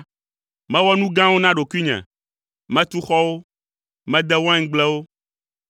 Mewɔ nu gãwo na ɖokuinye: metu xɔwo, mede waingblewo,